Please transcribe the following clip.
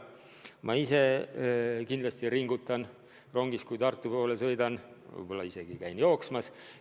Ma ise kindlasti ringutan rongis, kui Tartu poole sõidan, võib-olla hiljem isegi käin jooksmas.